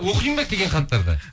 оқимын ба келген хаттарды